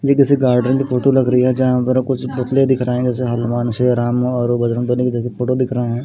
ये किसी गार्डन की फोटो लग रही है जहां पर कुछ पुतले दिख रहे हैं जैसे हनुमान श्री राम और बजरंग बली के जैसे फोटो दिख रहे हैं।